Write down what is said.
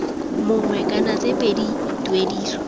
mongwe kana tse pedi tuediso